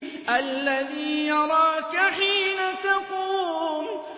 الَّذِي يَرَاكَ حِينَ تَقُومُ